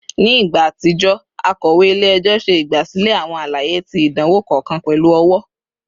Ni igba atijọ, akọwe ile-ẹjọ ṣe igbasilẹ awọn alaye ti idanwo kọọkan pẹlu ọwọ